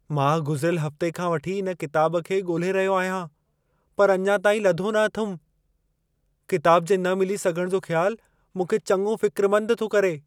मां गुज़िरियल हफ़्ते खां वठी इन किताबु खे ॻोल्हे रहियो आहियां पर अञा ताईं लधो न अथमि। किताबु जे न मिली सघणु जो ख़्यालु मूंखे चङो फ़िक्रमंदु थो करे।